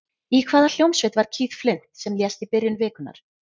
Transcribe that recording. Í hvaða hljómsveit var Keith Flint sem lést í byrjun vikunnar?